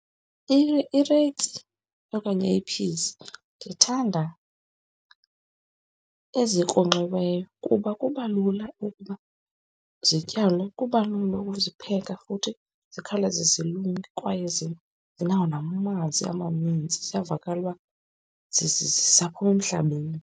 Okanye i-peas ndithanda ezikronkxiweyo kuba kubalula ukuba zityalwe, kubalula ukuzipheka futhi zikhawuleze zilunge kwaye zinawo namanzi amaninzi ziyavakala uba zisaphuma emhlabeni.